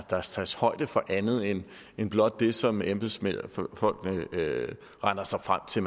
der tages højde for andet end blot det som embedsfolkene regner sig frem til